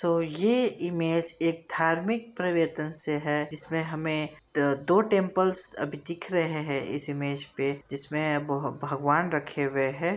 तो यह इमेज एक धार्मिक प्रवेतन से है जिसमें हमें द दो टेंपल्स अभी दिख रहे हैं इस इमेज पे जिसमें ब भगवान रखे हुए हैं।